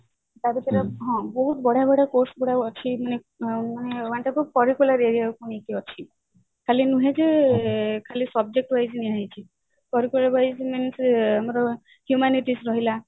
ତା ଭିତରେ ବହୁତ ବଢିଆ ବଢିଆ course ଗୁଡା ଅଛି one type of curricular area କୁ ନେଇକି ଅଛି ଖାଲି ନୁହେଁ ଯେ subject wise ଅଛି ମାନେ ଆମର ସେ humanities ରହିଲା